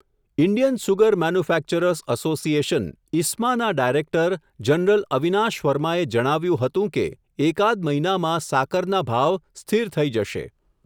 Indian sugar manufacturers association, ISMA ના director general Avinash વર્માએ જણાવ્યું હતું કે, એકાદ મહિનામાં સાકરના ભાવ સ્થિર થઈ જશે.